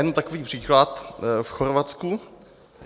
Jenom takový příklad v Chorvatsku.